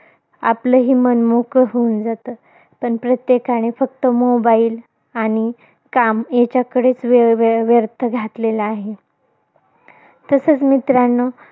आपलही मन मोकळं होऊन जातं. पण प्रत्येकाने फक्त mobile आणि काम याच्याकडेच वेळोवेळ व्यर्थ घातलेला आहे. तसचं मित्रांनो.